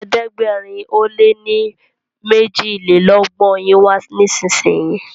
ẹ̀ẹ́dẹ̀gbẹ̀rin o lẹ ní mejilelogbon yin wá nísìsiyìí!